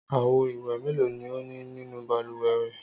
Àwo-ìwẹ̀ mélòó ni ó ní nínú balùwẹ̀ rẹ?